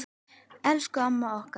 Elsku amma okkar.